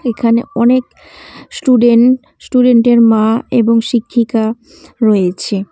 এখানে অনেক স্টুডেন্ট স্টুডেন্টের মা এবং শিক্ষিকা রয়েছে।